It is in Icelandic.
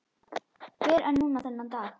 Fyrr en núna þennan dag.